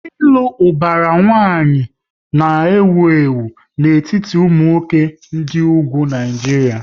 Ịlụ ubara nwanyi ka ewu ewu n'etiti ụmụ nwoke dị ugwu Naijiria